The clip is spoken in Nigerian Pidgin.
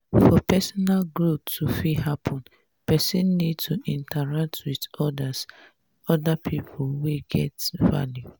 for personal growth to fit happen person need to fit interact with oda pipo wey get value